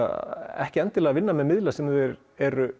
ekki að vinna með miðla sem þeir eru